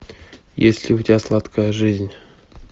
есть ли у тебя сладкая жизнь